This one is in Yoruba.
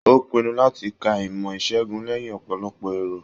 O pinnu láti kà ìmọ isegun lẹyìn ọpọlọpọ èrò.